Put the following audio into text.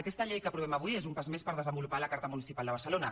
aquesta llei que aprovem avui és un pas més per desenvolupar la carta municipal de barcelona